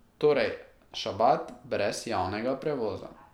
Torej, šabat brez javnega prevoza.